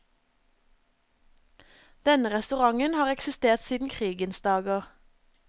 Denne restauranten har eksistert siden krigens dager.